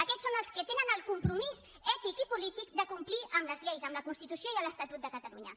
aquests són els que tenen el compromís ètic i polític de complir amb les lleis amb la constitució i l’estatut de catalunya